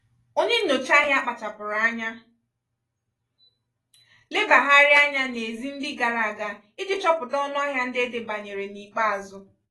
ònye nnyocha ahịa kpáchapụrụ anya lebagharịa anya n'ezi ndị gara aga iji chọpụta ọṅụahịa ndị edebanyere n'ikpeazụ.